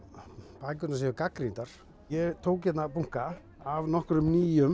bækurnar séu gagnrýndar ég tók hérna bunka af nokkrum nýjum